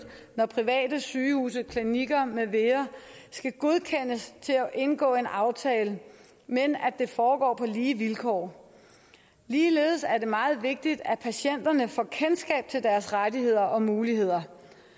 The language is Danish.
når private sygehuse klinikker med videre skal godkendes til at indgå en aftale men at det foregår på lige vilkår ligeledes er det meget vigtigt at patienterne får kendskab til deres rettigheder og muligheder